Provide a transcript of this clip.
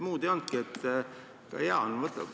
Muud ei olnudki.